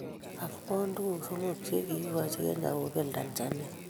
AFCON: Tuguk somok che kiigochi Kenya kobel Tanzania